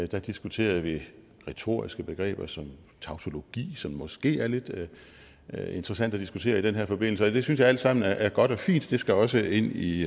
der diskuterede vi retoriske begreber som tautologi som det måske er lidt interessant at diskutere i den her forbindelse og det synes jeg alt sammen er godt og fint det skal også ind i